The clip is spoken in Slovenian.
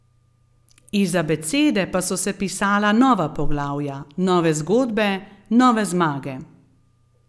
Iz abecede pa so se pisala nova poglavja, nove zgodbe, nove zmage.